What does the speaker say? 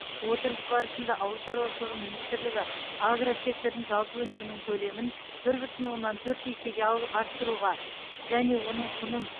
отырыс барысында ауыл шаруашылығы министрлігі агросектордың жалпы өнімінің көлемін бір бүтін оннан төрт есеге арттыруға және оның құнын